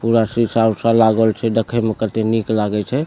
पूरा सीसा-उसा लागल छै देखे में कते निक लागे छै।